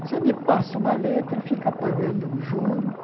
Você me passa uma letra, fica pagando o juros.